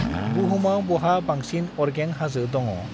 बुहुमाव बहा बांसिन अरगें हाजो दङ?